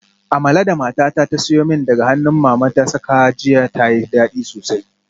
Amala da matata ta siyo min daga hannun mama ta saka jiya tayi dadi sosai